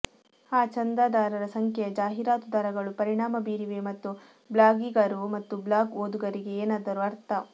ಆ ಚಂದಾದಾರರ ಸಂಖ್ಯೆಯ ಜಾಹೀರಾತು ದರಗಳು ಪರಿಣಾಮ ಬೀರಿವೆ ಮತ್ತು ಬ್ಲಾಗಿಗರು ಮತ್ತು ಬ್ಲಾಗ್ ಓದುಗರಿಗೆ ಏನಾದರೂ ಅರ್ಥ